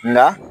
Nka